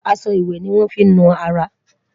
aṣọ ìwé ní wón fí nu ará